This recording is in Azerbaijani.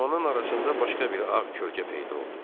Dumanın arasında başqa bir ağ kölgə peyda oldu.